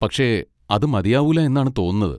പക്ഷെ അത് മതിയാവൂല എന്നാണ് തോന്നുന്നത്.